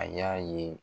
A y'a ye